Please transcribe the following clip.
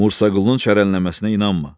Musa Qulunun çərənləməsinə inanma.